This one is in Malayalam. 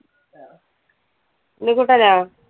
ഉണ്ണികുട്ടനോ?